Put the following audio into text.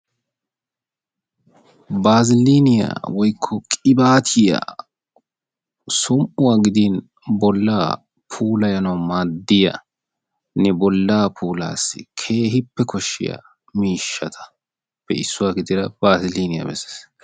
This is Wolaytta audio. Baazilliiniya woykko qibaatiya som'uwa gidin bollaa puulayanawu maadiyanne bollaa puulaassi keehippe koshshiya miishshatappe issuwa gidida baazilliiniya bessees.